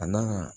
A n'a ka